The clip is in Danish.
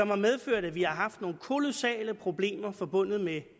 har medført at vi har haft nogle kolossale problemer forbundet med